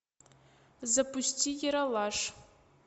запусти ералаш